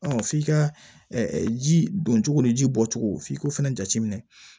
f'i ka ji don cogo ni ji bɔcogo f'i k'o fana jate minɛ